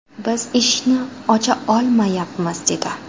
Biz eshikni ocha olmayapmiz”, dedi.